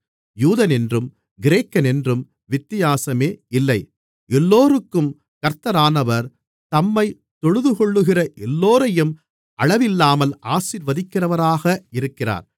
யூதனென்றும் கிரேக்கனென்றும் வித்தியாசமே இல்லை எல்லோருக்கும் கர்த்தரானவர் தம்மைத் தொழுதுகொள்ளுகிற எல்லோரையும் அளவில்லாமல் ஆசீர்வதிக்கிறவராக இருக்கிறார்